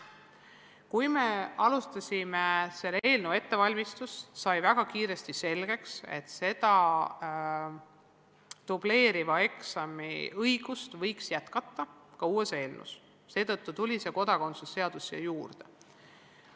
Kui me alustasime selle eelnõu ettevalmistust, siis sai väga kiiresti selgeks, et see dubleeriva eksami ärajätmise põhimõte võiks olla ka uues eelnõus, seetõttu tuli see kodakondsuse seadus siia juurde.